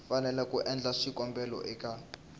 fanele ku endla xikombelo eka